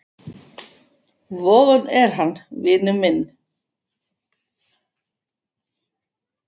Vogun er hann, vinur minn.